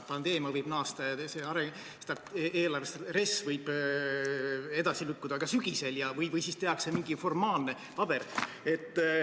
Pandeemia võib naasta ja RES võib edasi lükkuda ka sügisel, või siis tehakse mingi formaalne paber.